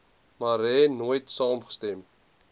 marais nooit saamgestem